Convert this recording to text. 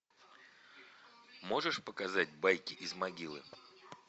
можешь показать байки из могилы